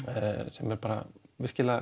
sem er bara virkilega